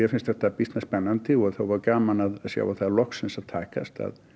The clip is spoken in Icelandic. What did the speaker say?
finnst þetta býsna spennandi og voða gaman að sjá að það er loksins að takast að